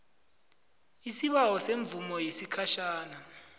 isibawo semvumo yesikhatjhana